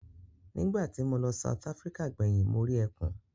Nígbà tí mo lọ South Africa gbẹ̀yìn mo rí ẹkùn.